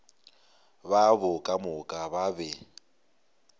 babo ka moka ba be